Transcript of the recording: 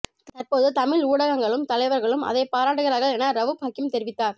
தற்போது தமிழ் ஊடகங்களும் தலைவர்களும் அதை பாராட்டுகிறார்கள் என ரவூப் ஹக்கீம் தெரிவித்தார்